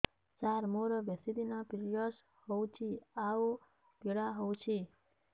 ସାର ମୋର ବେଶୀ ଦିନ ପିରୀଅଡ଼ସ ହଉଚି ଆଉ ପୀଡା ହଉଚି